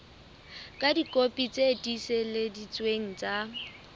ka dikopi tse tiiseleditsweng tsa